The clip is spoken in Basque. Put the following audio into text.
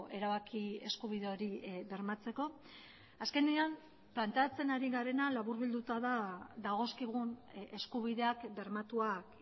erabaki eskubide hori bermatzeko azkenean planteatzen ari garena laburbilduta da dagozkigun eskubideak bermatuak